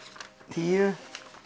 tíu